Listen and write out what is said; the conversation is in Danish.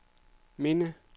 minde